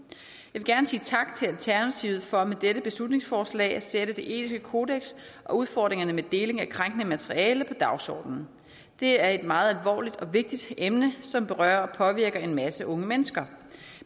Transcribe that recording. vil gerne sige tak til alternativet for med dette beslutningsforslag at sætte det etiske kodeks og udfordringerne med deling af krænkende materiale på dagsordenen det er et meget alvorligt og vigtigt emne som berører og påvirker en masse unge mennesker